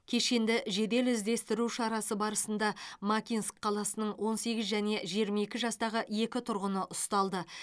кешенді жедел іздестіру шарасы барысында макинск қаласының он сегіз және жиырма екі жастағы екі тұрғыны ұсталды